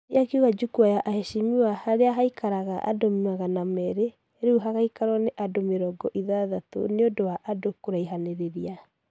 Andy akiuga jukwaa ya aheshimiwa haria haikaraga ageni magana merĩ rĩu gũgaikarwa na andũ mirongo ithathatũ nĩũndũ wa andũ kuraihanĩrĩria